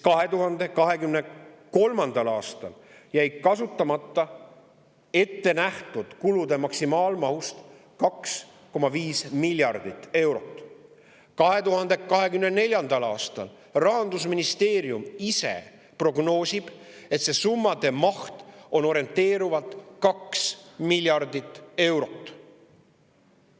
2023. aastal jäi kasutamata ette nähtud kulude maksimaalmahust 2,5 miljardit eurot ja 2024. aastal Rahandusministeerium ise prognoosib, et see summa on orienteeruvalt 2 miljardit eurot.